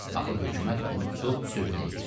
Axır hökumət bunu tutub sürgün eləyir.